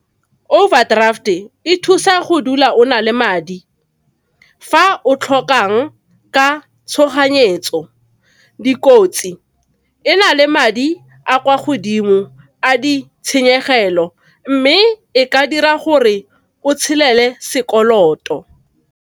Overdraft e thusa go dula o na le madi fa o tlhokang ka tshoganyetso. Dikotsi, ena le madi a kwa godimo a di tshenyegelo mme e ka dira gore o tshelele sekoloto.